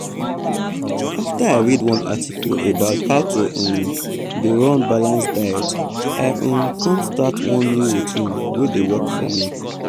after i read one article about how to um dey run balanced diet i um come start one new routine wey dey work for me.